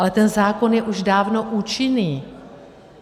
Ale ten zákon je už dávno účinný.